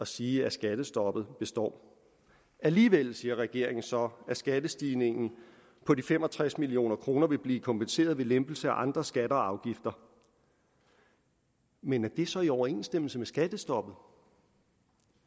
sige at skattestoppet består alligevel siger regeringen så at skattestigningen på de fem og tres million kroner vil blive kompenseret ved lempelser af andre skatter og afgifter men er det så i overensstemmelse med skattestoppet